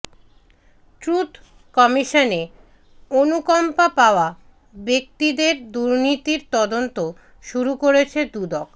truth কমিশনে অনুকম্পা পাওয়া ব্যক্তিদের দুর্নীতির তদন্ত শুরু করেছে দুদক